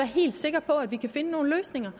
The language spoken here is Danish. helt sikker på at vi kan finde nogle løsninger